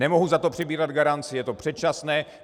Nemohu za to přebírat garanci, je to předčasné.